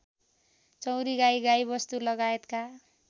चौँरी गाई गाईवस्तुलगायतका